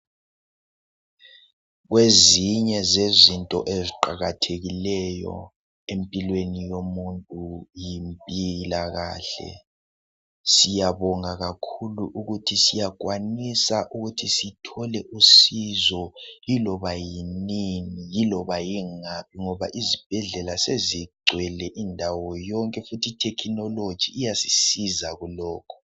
Kwezinye zezinto eziqakathekileyo empilweni yomuntu yimpilakahle siyabonga kakhulu ukuthi siyakwanisa ukuthi sithole usizo iloba yinini iloba yingaphi ngoba izibhedlela sezigcwele indawo yonke futhi ithekhinoloji iyasiza kulokho.